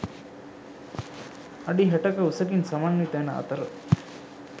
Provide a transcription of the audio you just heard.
අඩි 60 ක උසකින් සමන්විත වන අතර